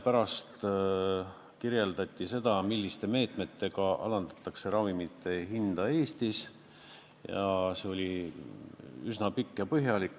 Ka kirjeldati seda, milliste meetmetega alandatakse ravimite hinda Eestis, ja see oli üsna pikk ja põhjalik.